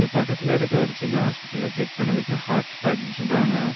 இங்க பக்கத்துல இருக்குற ஒரு சின்ன hospital ல check பண்ணதுக்கு heart attack னு சொல்றாங்க.